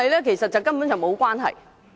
其實，根本是沒有關係。